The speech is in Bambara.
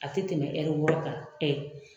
A tɛ tɛmɛ wɔɔrɔ kan ɛ